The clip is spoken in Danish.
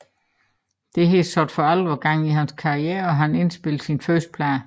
Dette satte for alvor gang i hans karriere og han indspillede sin første plade